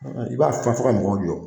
I b'a faa fɔ ka mɔgɔw jɔ